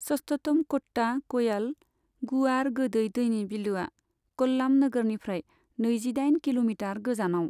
सस्थमकोट्टा कयाल, गुवार गोदै दैनि बिलोआ, कल्लाम नोगोरनिफ्राय नैजिदाइन किल'मिटार गोजानाव।